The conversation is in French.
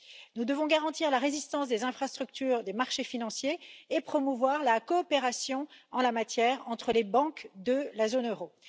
Nous devons garantir la résistance des infrastructures des marchés financiers et promouvoir la coopération en la matière entre les banques de la zone euro.